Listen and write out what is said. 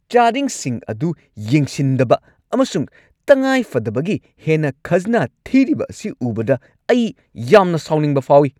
ꯆꯥꯗꯤꯡꯁꯤꯡ ꯑꯗꯨ ꯌꯦꯡꯁꯤꯟꯗꯕ ꯑꯃꯁꯨꯡ ꯇꯉꯥꯏꯐꯗꯕꯒꯤ ꯍꯦꯟꯅ ꯈꯥꯖꯅꯥ ꯊꯤꯔꯤꯕ ꯑꯁꯤ ꯎꯕꯗ ꯑꯩ ꯌꯥꯝꯅ ꯁꯥꯎꯅꯤꯡꯕ ꯐꯥꯎꯏ꯫